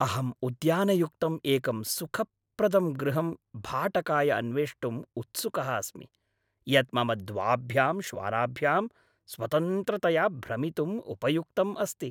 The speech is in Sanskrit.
अहम् उद्यानयुक्तं एकं सुखप्रदं गृहम् भाटकाय अन्वेष्टुं उत्सुकः अस्मि, यत् मम द्वाभ्यां श्वानाभ्यां स्वतन्त्रतया भ्रमितुम् उपयुक्तम् अस्ति।